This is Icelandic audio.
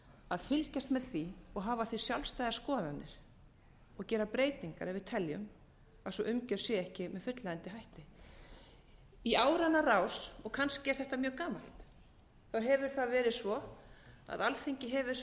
að fylgjast með því og hafa á því sjálfstæðar skoðanir og gera breytingar ef við teljum að sú umgjörð sé ekki með fullnægjandi hætti í áranna rás og kannski er þetta mjög gamalt hefur það verið svo að alþingi hefur